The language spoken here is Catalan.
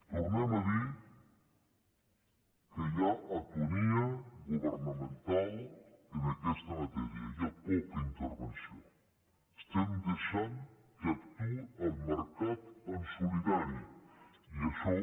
tornem a dir que hi ha atonia governamental en aquesta matèria hi ha poca intervenció estem deixant que actuï el mercat en solitari i això